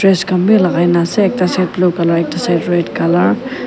dress khan wi lagai kena ase ekta shirt blue colour ekta shirt red colour .